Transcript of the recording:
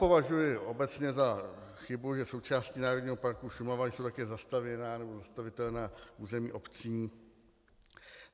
Považuji obecně za chybu, že součástí Národního parku Šumava jsou také zastavěná nebo zastavitelná území obcí.